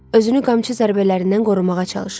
Özünü qamçı zərbələrindən qorumağa çalışırdı.